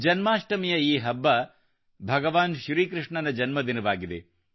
ಜನ್ಮಾಷ್ಟಮಿಯ ಈ ಹಬ್ಬ ಭಗವಾನ್ ಶ್ರೀ ಕೃಷ್ಣನ ಜನ್ಮದಿನವಾಗಿದೆ